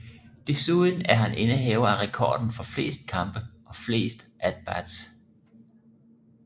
Desuden er han indehaver af rekorden for flest kampe og flest at bats